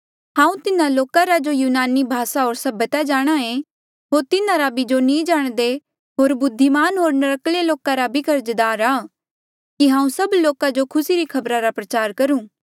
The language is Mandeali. हांऊँ तिन्हा लोका रा जो यूनानी भासा होर सभ्यता जाणांहे होर तिन्हारा भी जो नी जाणदे होर बुद्धिमान होर नर्क्कले लोका रा भी कर्जदार आ कि हांऊँ सब लोका जो खुसी री खबरा रा प्रचार करूं